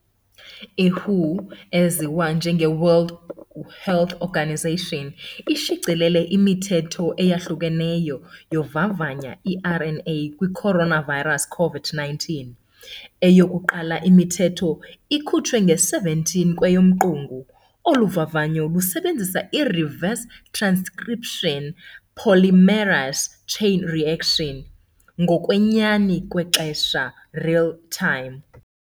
iWHO eziwa njengeWorld Health Organization ishicilele imithetho eyahlukeneyo yovavanya iRNA kwicoronavirus COVID-19, eyokuqala imithetho ikutshwe nge17 kweyoMqungu. Oluvavanyo lusebenzisa ireverse transcription polymerase chain reaction, rRT-PCR, ngokwenyani kwexesha, real time.